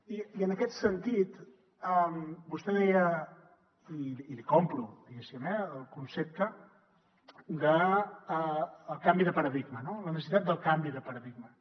i en aquest sentit vostè deia i l’hi compro diguéssim eh el concepte del canvi de paradigma no la necessitat del canvi de paradigma